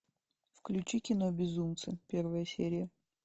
включи кино безумцы первая серия